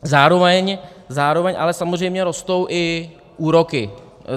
Zároveň ale samozřejmě rostou i úroky.